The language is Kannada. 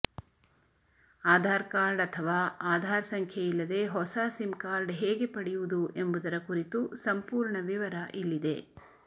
ಆಧಾರ್ ಕಾರ್ಡ್ ಅಥವಾ ಆಧಾರ್ ಸಂಖ್ಯೆಯಿಲ್ಲದೆ ಹೊಸ ಸಿಮ್ ಕಾರ್ಡ್ ಹೇಗೆ ಪಡೆಯುವುದು ಎಂಬುದರ ಕುರಿತು ಸಂಪೂರ್ಣ ವಿವರ ಇಲ್ಲಿದೆ